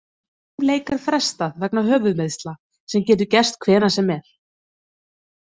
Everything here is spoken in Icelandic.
Einum leik er frestað vegna höfuðmeiðsla sem getur gerst hvenær sem er.